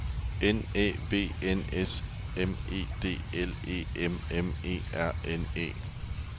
N Æ V N S M E D L E M M E R N E